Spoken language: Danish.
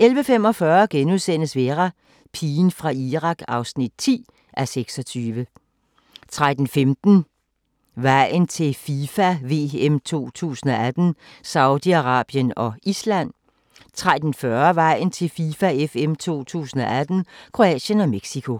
11:45: Vera: Pigen fra Irak (10:26)* 13:15: Vejen til FIFA VM 2018: Saudi-Arabien og Island 13:40: Vejen til FIFA VM 2018: Kroatien og Mexico